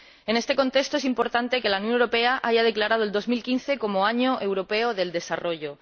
En este contexto es importante que la Unión Europea haya declarado el 2015 como Año Europeo del Desarrollo.